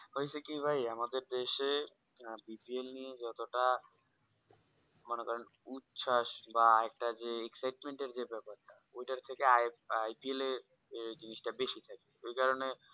হয়েছে কি ভাই আমাদের দেশে আর bpl নিয়ে যত টা উচ্ছাস বা আর একটা excitement যে ব্যাপার ঐটা থেকে IPL এর জিনিস টা বেশি থাকে ওই কারণে